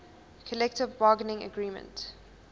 collective bargaining agreement